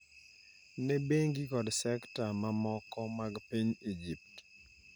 ne bengi kod sekta mamoko mag piny Egypt.